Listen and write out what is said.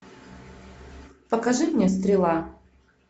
покажи мне стрела